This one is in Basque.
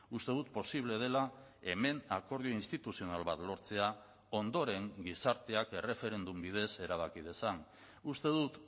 uste dut posible dela hemen akordio instituzional bat lortzea ondoren gizarteak erreferendum bidez erabaki dezan uste dut